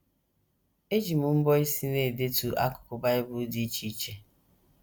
Eji m mbọ́ isi na - edetu akụkụ Bible dị iche iche